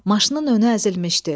Maşının önü əzilmişdi.